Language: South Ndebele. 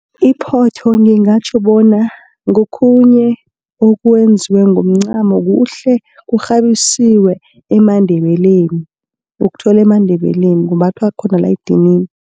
Iphotho ngingatjho bona ngokhunye okwenziwe ngomncamo kuhle, kukghabisiwe emaNdebeleni. Ukuthola emaNdebeleni kumbathwa khona la edinini.